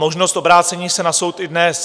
Možnost obrácení se na soud i dnes.